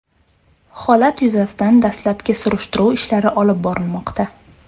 Holat yuzasidan dastlabki surishtiruv ishlari olib borilmoqda.